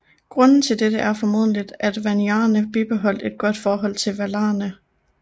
Grunden til dette er formentlig at Vanyarene bibeholdt et godt forhold til Valarne